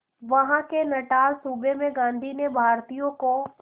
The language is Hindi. वहां के नटाल सूबे में गांधी ने भारतीयों को